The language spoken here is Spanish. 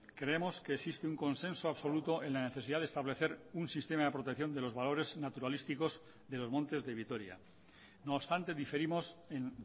creemos que existe un consenso absoluto en la necesidad de establecer un sistema de protección de los valores naturalísticos de los montes de vitoria no obstante diferimos en